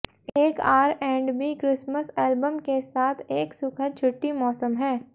एक R and B Christmas album के साथ एक सुखद छुट्टी मौसम है